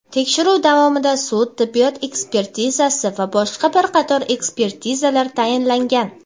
Tekshiruv davomida sud-tibbiyot ekspertizasi va boshqa bir qator ekspertizalar tayinlangan.